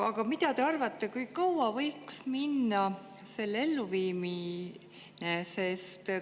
Aga mida te arvate, kui kaua võiks minna selle elluviimiseks?